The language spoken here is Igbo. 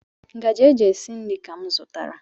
Ngaji e ji esi nri ka m zụtara.